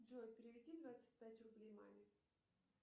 джой переведи двадцать пять рублей маме